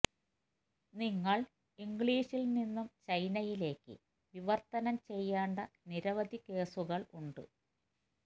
നിങ്ങൾ ഇംഗ്ലീഷിൽ നിന്നും ചൈനയിലേക്ക് വിവർത്തനം ചെയ്യേണ്ട നിരവധി കേസുകൾ ഉണ്ട്